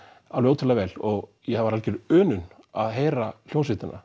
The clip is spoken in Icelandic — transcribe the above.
ótrúlega vel og það var algjör unun að heyra hljómsveitina